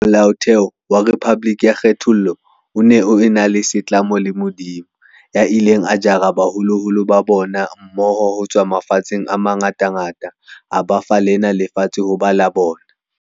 Molaotheo wa rephaboliki ya kgethollo o ne o ena setlamo le Modimo, "ya ileng a jara baholoholo ba bona mmoho ho tswa mafatsheng a mangatangata a ba fa lena lefatshe ho ba la bona".